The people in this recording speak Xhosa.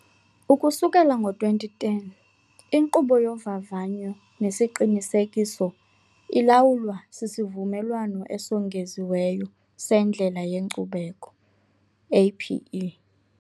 Ukusukela ngo-2010, inkqubo yovavanyo nesiqinisekiso ilawulwa siSivumelwano Esongeziweyo seNdlela yeNkcubeko, APE.